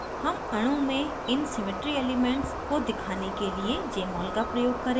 हम अणु में इन symmetry elements को दिखाने के लिए jmol का प्रयोग करेंगे